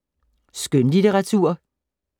Skønlitteratur